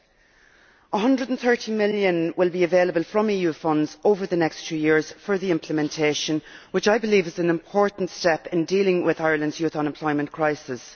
EUR130 million will be available from EU funds over the next two years for the implementation, which is, I believe, an important step in dealing with Ireland's youth unemployment crisis.